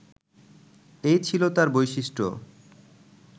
এই ছিল তাঁর বৈশিষ্ট্য